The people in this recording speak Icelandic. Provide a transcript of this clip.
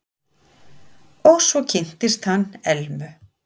Og svo kynntist hann Elmu.